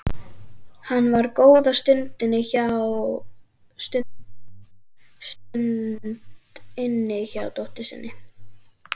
Hann var góða stund inni hjá dóttur sinni.